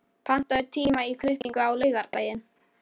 Magnfríður, pantaðu tíma í klippingu á laugardaginn.